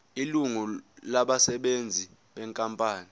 ilungu labasebenzi benkampani